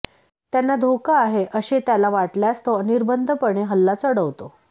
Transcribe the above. त्यांना धोका आहे असे त्याला वाटल्यास तो अनिर्बंधपणे हल्ला चढवतो